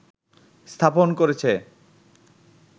স্থাপন করেছে